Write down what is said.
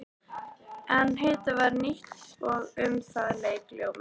En heitið var nýtt og um það lék ljómi.